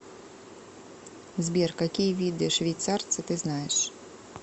сбер какие виды швейцарцы ты знаешь